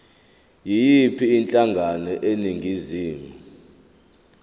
yiyiphi inhlangano eningizimu